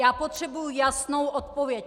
Já potřebuji jasnou odpověď!